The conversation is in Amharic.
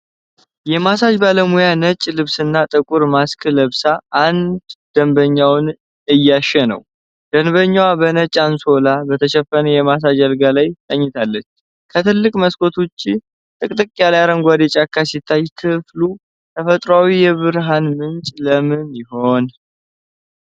የማሳጅ ባለሙያ ነጭ ልብስና ጥቁር ማስክ ለብሳ አንድ ደንበኛዋን እያሸች ነው። ደንበኛዋ በነጭ አንሶላ በተሸፈነ የማሳጅ አልጋ ላይ ተኝታለች። ከትልቅ መስኮት ውጭ ጥቅጥቅ ያለ አረንጓዴ ጫካ ሲታይ፣ ክፍሉ ተፈጥሮአዊ የብርሃን ምንጭ ለምን ሆነ?